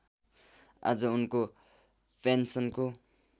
आज उनको पेन्सनको